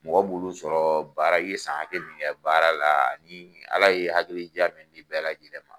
Mɔgɔ b'olu sɔrɔ baara , i ye san hakɛ min kɛ baara la ni ala ye hakili ja min di bɛɛ lajɛlen ma.